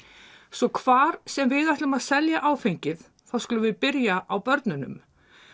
svo hvar sem við ætlum að selja áfengið þá skulum við byrja á börnunum